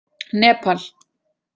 Nepal